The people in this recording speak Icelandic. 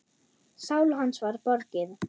Sál hans var borgið.